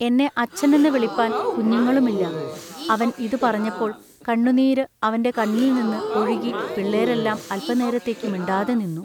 എന്നെ അച്ഛനെന്നു വിളിപ്പാൻ കുഞ്ഞുങ്ങളുമില്ല. അവൻ ഇതു പറഞ്ഞപ്പോൾ കണ്ണുനീരു അവന്റെ കണ്ണിൽനിന്നു ഒഴുകി പിള്ളെരെല്ലാം അല്പനേരത്തേക്കു മിണ്ടാതെനിന്നു.